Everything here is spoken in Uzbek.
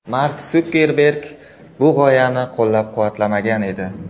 Mark Sukerberg bu g‘oyani qo‘llab-quvvatlamagan edi.